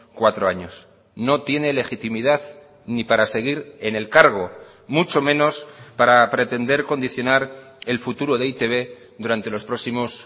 cuatro años no tiene legitimidad ni para seguir en el cargo mucho menos para pretender condicionar el futuro de e i te be durante los próximos